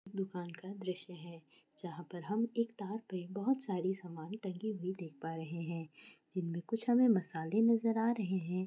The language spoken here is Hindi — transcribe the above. दुकान का दृश है जहा पर हम एक तार पे बहुत सारी समान टंगी हुई देख पा रहे है जिनमे कूछ हमे मसाले नजर आ रहे है।